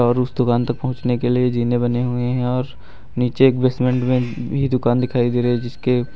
और उस दुकान तक पहुंचाने के लिए जीने बने हुए हैं और नीचे एक बेसमेंट में भी दुकान दिखाई दे रही है जिसके--